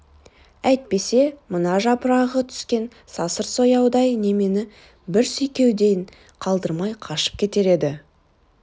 әйтпесе мына жапырағы түскен сасыр сояудай немені бір сүйкеуден қалдырмай қашып кетер еді